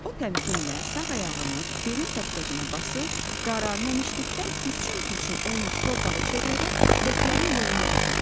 O təmkinlə sağ ayağını belin təpkəcinə basır, qara nəmişlikdən pürçüm-pürçüm olmuş torpağı çevirərək ləklərin yoluna tökürdü.